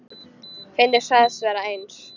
Finnur sagðist vera eins.